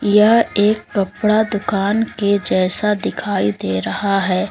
यह एक कपड़ा दुकान के जैसा दिखाई दे रहा है।